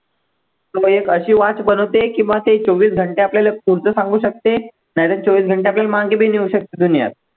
एक अशी watch बनवते की मग ते चोवीस घंटे आपल्याले पुढचं सांगू शकते नाही तर चोवीस घंटे आपल्याला मागे पण नेऊ शकते दुनियात